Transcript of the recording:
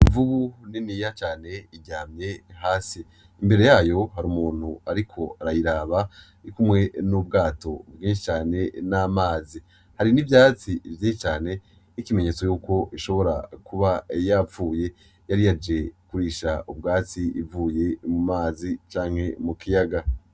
Imvubu niniya cane iryamye hasi . Mbere yayo har'umuntu ariko arayiraba arikumwe n'ubwato bwinshi cane , n'amazi. Hari n'ivyatsi vyinshi cane nk'ikimenyetso cuko ishobora kuba yapfuye yari yaje kurisha ubwatsi ivuye mu mazi, canke mu kiyaga.